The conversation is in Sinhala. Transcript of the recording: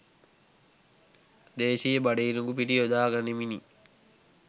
දේශිය බඩ ඉරිඟු පිටි යොදා ගනිමිනි.